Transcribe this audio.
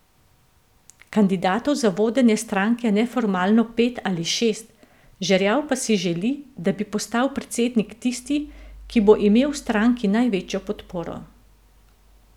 Kandidatov za vodenje stranke je neformalno pet ali šest, Žerjav pa si želi, da bi postal predsednik tisti, ki bo imel v stranki največjo podporo.